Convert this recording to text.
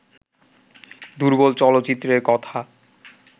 দুর্বল চলচ্চিত্রের কথা